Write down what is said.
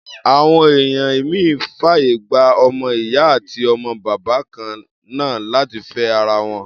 Àwọn ẹ̀ya ìmíì fàyè gba ọmọ-ìyá àti ọmọ-bàbá kan náà láti fẹ́ ara wọn.